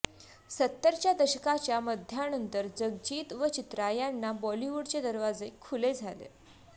सत्तरच्या दशकाच्या मध्यानंतर जगजीत व चित्रा यांना बॉलिवुडचे दरवाजे खुले झाले